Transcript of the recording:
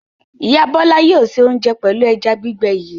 Ìyá Bọ́lá yóò se oúnjẹ pẹ̀lú ẹja gbígbẹ yìí.